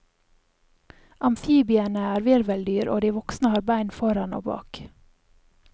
Amfibiene er virveldyr og de voksne har bein foran og bak.